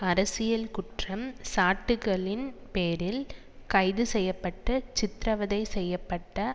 அரசியல் குற்றம் சாட்டுக்களின் பேரில் கைது செய்ய பட்டு சித்திரவதை செய்ய பட்ட